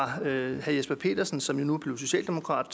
af herre jesper petersen som nu er blevet socialdemokrat